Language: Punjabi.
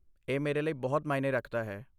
ਇਹ ਮੇਰੇ ਲਈ ਬਹੁਤ ਮਾਇਨੇ ਰੱਖਦਾ ਹੈ।